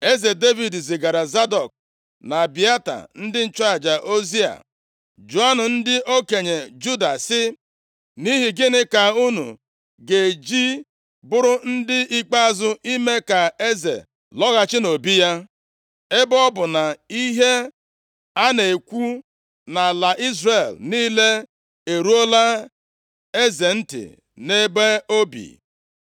Eze Devid zigaara Zadọk na Abịata, ndị nchụaja ozi a, “Jụọnụ ndị okenye Juda sị, ‘Nʼihi gịnị ka unu ga-eji bụrụ ndị ikpeazụ ime ka eze lọghachi nʼobi ya, ebe ọ bụ na ihe a na-ekwu nʼala Izrel niile eruola eze ntị nʼebe o bi?